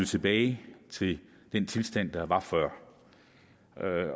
tilbage til den tilstand der var før